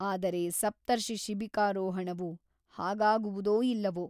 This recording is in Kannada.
ಆದರೆ ಸಪ್ತರ್ಷಿಶಿಬಿಕಾರೋಹಣವು ಹಾಗಾಗುವುದೋ ಇಲ್ಲವೋ !